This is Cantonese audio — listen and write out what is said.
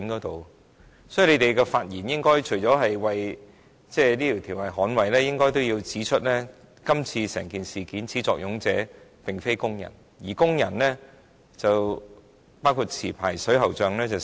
代表勞工界的議員，除了捍衞《條例草案》外，也應指出整件事的始作俑者並非工人；可是，工人已經成為代罪羔羊。